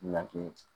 Laki